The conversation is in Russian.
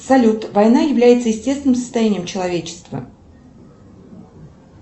салют война является естественным состоянием человечества